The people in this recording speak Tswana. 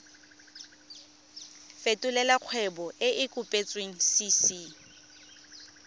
fetolela kgwebo e e kopetswengcc